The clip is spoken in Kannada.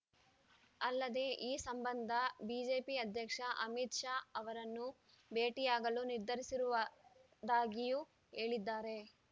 ಅಲ್ಲದೇ ಈ ಸಂಬಂಧ ಬಿಜೆಪಿ ಅಧ್ಯಕ್ಷ ಅಮಿತ್‌ ಶಾ ಅವರನ್ನು ಭೇಟಿಯಾಗಲು ನಿರ್ಧರಿಸಿರುವುದಾಗಿಯೂ ಹೇಳಿದ್ದಾರೆ